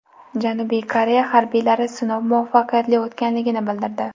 Janubiy Koreya harbiylari sinov muvaffaqiyatli o‘tganligini bildirdi.